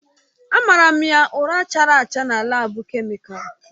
Amara m ya ụra chara acha na laabu kemịkalụ.